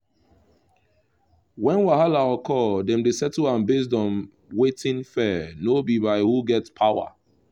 when wahala occur dem dey settle am based on wetin fair no be by who get power